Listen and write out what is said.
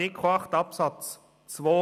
Artikel 8 Absatz 2